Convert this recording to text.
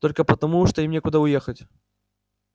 только потому что им некуда уехать